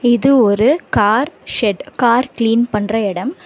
இது ஒரு car shed . Car clean பண்ற எடம்.